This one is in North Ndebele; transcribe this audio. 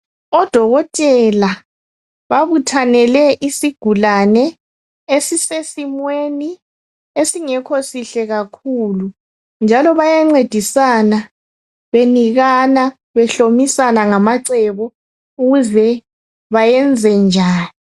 Odokotela babuthanele isigulane esisesimweni esingekho sihle kakhulu, njalo bayancedisana benikana, behlomisana ngamacebo ukuze bayenzenjani.